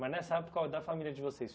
Mas nessa época, qual é a família de vocês?